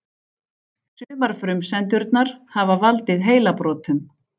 Sumar frumsendurnar hafa valdið heilabrotum.